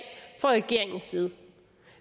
fra regeringens side